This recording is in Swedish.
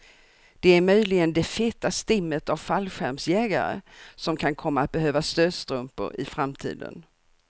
Det är möjligen det feta stimmet av fallskärmsjägare, som kan komma att behöva stödstrumpor i framtiden.